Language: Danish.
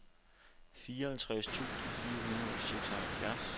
fireoghalvtreds tusind fire hundrede og seksoghalvfjerds